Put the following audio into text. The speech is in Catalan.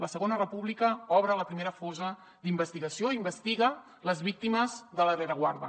la segona república obre la primera fossa d’investigació investiga les víctimes de la rereguarda